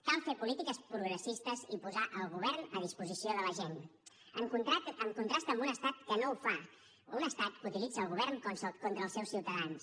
cal fer polítiques progressistes i posar el govern a disposició de la gent en contrast amb un estat que no ho fa un estat que utilitza el govern contra els seus ciutadans